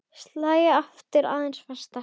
Slæ aftur aðeins fastar.